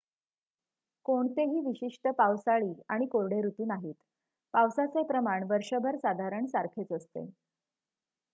"कोणतेही विशिष्ट "पावसाळी" आणि "कोरडे" ऋतू नाहीत: पावसाचे प्रमाण वर्षभर साधारण सारखेच असते.